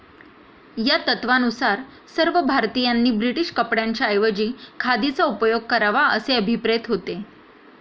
या तत्वानुसार सर्व भारतीयांनी ब्रिटीश कपड्यांच्या ऐवजी खादीचा उपयोग करावा असे अभिप्रेत होते.